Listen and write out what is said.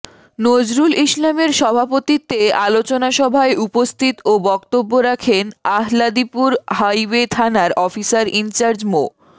নজরুল ইসলামের সভাপতিত্বে আলোচনা সভায় উপস্থিত ও বক্তব্য রাখেন আহলাদীপুর হাইওয়ে থানার অফিসার ইনচার্জ মো